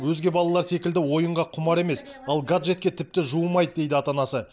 өзге балалар секілді ойынға құмар емес ал гаджетке тіпті жуымайды дейді ата анасы